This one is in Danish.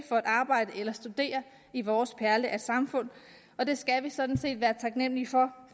for at arbejde eller studere i vores perle af et samfund og det skal vi sådan set være taknemmelige for